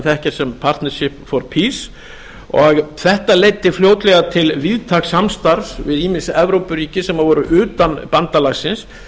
þekkja sem pacnipic for peace og þetta leiddi fljótlega til víðtæks samstarfs við ýmis evrópuríki sem voru utan bandalagsins